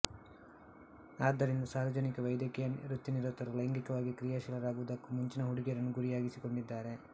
ಆದ್ದರಿಂದ ಸಾರ್ವಜನಿಕ ವೈದ್ಯಕೀಯ ವೃತ್ತಿನಿರತರು ಲೈಂಗಿಕವಾಗಿ ಕ್ರಿಯಾಶೀಲರಾಗುವುದಕ್ಕೂ ಮುಂಚಿನ ಹುಡುಗಿಯರನ್ನು ಗುರಿಯಾಗಿಸಿಕೊಂಡಿದ್ದಾರೆ